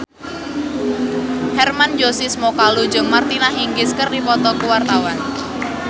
Hermann Josis Mokalu jeung Martina Hingis keur dipoto ku wartawan